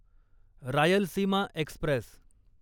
Rayalaseema Express